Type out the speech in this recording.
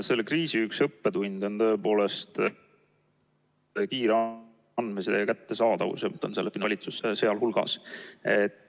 Selle kriisi üks õppetunde on tõepoolest kiire andmeside kättesaadavus ja ......